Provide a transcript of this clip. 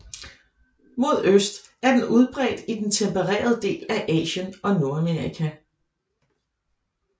Mod øst er den udbredt i den tempererede del af Asien og Nordamerika